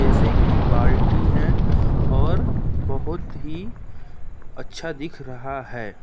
शीशे की बाल्टी हैं और बहोत ही अच्छा दिख रहा है।